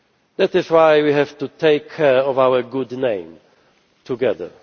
That is why we have to take care of our good name together.